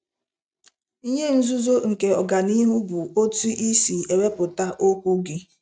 Ihe nzuzo nke ọganihu bụ otu i si ewepụta okwu gị!